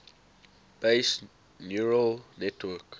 based neural network